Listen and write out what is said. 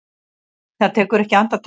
Það tekur ekki andartak.